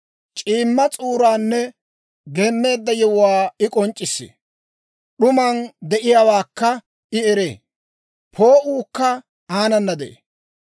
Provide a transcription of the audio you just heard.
C'iimma s'uuraanne geemmeedda yewuwaa, I k'onc'c'issee. D'uman de'iyaawaakka I eree; poo'uukka aanana de'ee.